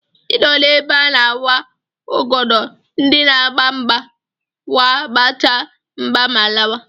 I nọ ebe I na-awa ọgọdọ ndị na-agba mgba wee gbachaa mgba ma lawa.